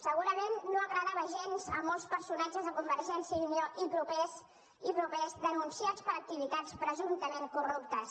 segurament no agradava gens a molts personatges de convergència i unió i propers denunciats per activitats presumptament corruptes